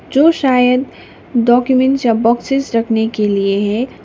जो शायद डॉक्यूमेंट या बॉक्सेस रखने के लिए है।